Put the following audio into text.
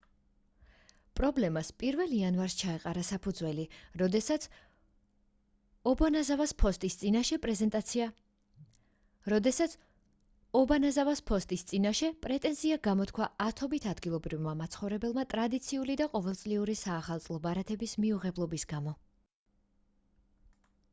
პრობლემას 1-ლ იანვარს ჩაეყარა საფუძველი როდესაც ობანაზავას ფოსტის წინაშე პრეტენზია გამოთქვა ათობით ადგილობრივმა მაცხოვრებელმა ტრადიციული და ყოველწლიური საახალწლო ბარათების მიუღებლობის გამო